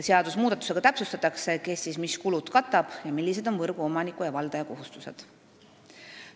Seadusmuudatusega täpsustatakse, kes mis kulud katab ning millised on võrguomaniku ja valdaja kohustused.